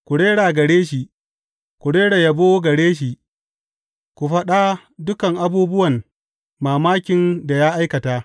Ku rera gare shi, ku rera yabo gare shi; ku faɗa dukan abubuwan mamakin da ya aikata.